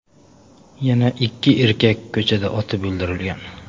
Yana ikki erkak ko‘chada otib o‘ldirilgan.